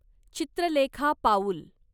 चित्रलेखा पाऊल